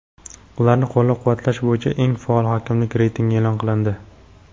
ularni qo‘llab-quvvatlash bo‘yicha eng faol hokimliklar reytingi e’lon qilindi.